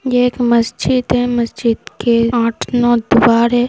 ये एक मस्जिद है। मस्जिद के द्वार है।